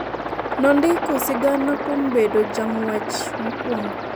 nondiko sigana kuom bedo jang'wech mokuongo